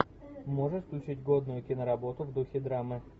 можешь включить годную киноработу в духе драмы